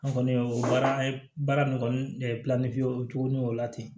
An kɔni y'o o baara an ye baara nin kɔni o cogo min o la ten